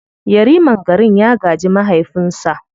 Yariman garin ya gaji mahaifinsa.